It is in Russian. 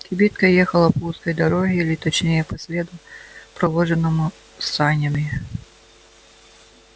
кибитка ехала по узкой дороге или точнее по следу проложенному крестьянскими санями